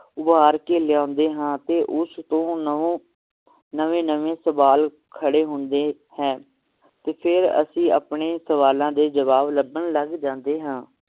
ਉਭਾਰ ਕੇ ਲਿਆਉਂਦੇ ਹਾਂ ਅਤੇ ਉਸ ਤੋਂ ਨੌਂ~ ਨਵੇਂ ਨਵੇਂ ਸਵਾਲ ਖੜੇ ਹੁੰਦੇ ਹੈ ਤੇ ਫੇਰ ਅਸੀ ਆਪਣੇ ਸਵਾਲਾਂ ਦੇ ਜਵਾਬ ਲੱਭਣ ਲੱਗ ਜਾਂਦੇ ਹਾਂ